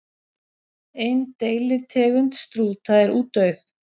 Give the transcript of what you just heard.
Ein deilitegund strúta er útdauð.